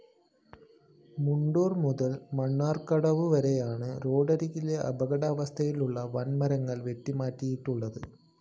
മുണ്ടൂര്‍ മുതല്‍ മണ്ണാര്‍ക്കാടുവരെയാണ് റോഡരികിലെ അപകടാവസ്ഥയിലുള്ള വന്‍മരങ്ങള്‍ വെട്ടിമാറ്റിയിട്ടുള്ളത്